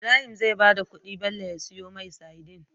Ibrahim zai bada kudi Bello ya siyo mai sadin